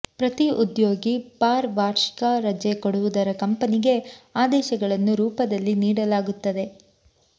ಪ್ರತಿ ಉದ್ಯೋಗಿ ಫಾರ್ ವಾರ್ಷಿಕ ರಜೆ ಕೊಡುವುದರ ಕಂಪನಿಗೆ ಆದೇಶಗಳನ್ನು ರೂಪದಲ್ಲಿ ನೀಡಲಾಗುತ್ತದೆ